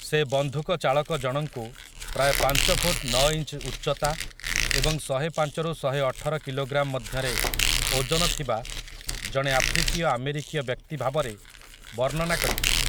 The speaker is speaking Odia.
ସେ ବନ୍ଧୁକଚାଳକଜଣଙ୍କୁ ପ୍ରାୟ ପାଞ୍ଚ ଫୁଟ୍ ନଅ ଇଞ୍ଚ୍ ଉଚ୍ଚତା ଏବଂ ଶହେପାଞ୍ଚ ରୁ ଶହେଅଠର କିଲୋଗ୍ରାମ୍ ମଧ୍ୟରେ ଓଜନ ଥିବା ଜଣେ ଆଫ୍ରିକୀୟ ଆମେରିକୀୟ ବ୍ୟକ୍ତି ଭାବରେ ବର୍ଣ୍ଣନା କରିଥିଲେ ।